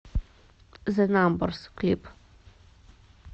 зе намберс клип